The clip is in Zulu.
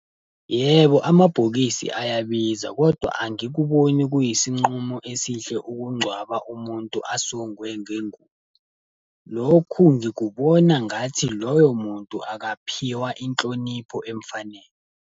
Yebo amabhokisi ayabiza, kodwa angikuboni kuyisinqumo esihle ukungcwaba umuntu asongwe ngengubo. Lokhu ngikubona ngathi loyo muntu akaphiwa inhlonipho emfanele.